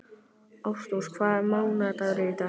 Ástrós, hvaða mánaðardagur er í dag?